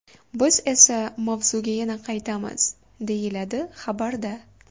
Biz esa mavzuga yana qaytamiz”, deyiladi xabarda.